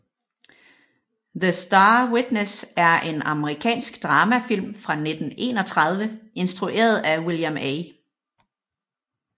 The Star Witness er en amerikansk dramafilm fra 1931 instrueret af William A